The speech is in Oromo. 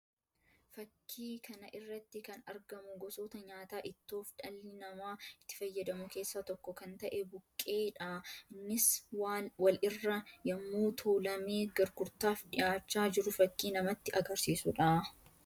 Fakkii kana irratti kan argamu gosoota nyaataa ittoof dhalli namaa itti fayyadamu keessaa tokko kan ta'e buqqee dha. Innis wal irra yammuu tuulamee gurgurtaaf dhiyaachaa jiru fakkii namatti agarsiisuu dha.